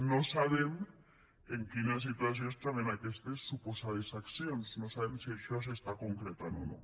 no sabem en quina situació es troben aquestes suposades accions no sabem si això s’està concretant o no